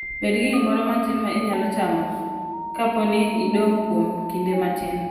Bed gi gimoro matin ma inyalo chamo kapo ni idong' kuom kinde matin.